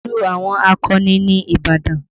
Ìlú àwọn akọni ni Ìbàdàn